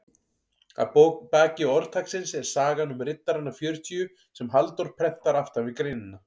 Að baki orðtaksins er sagan um riddarana fjörutíu sem Halldór prentar aftan við greinina.